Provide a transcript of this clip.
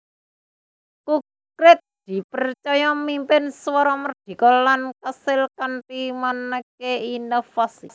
Kukrit dipercaya mimpin Suara Merdeka lan kaasil kanthi maneka inovasi